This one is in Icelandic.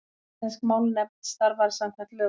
Íslensk málnefnd starfar samkvæmt lögum.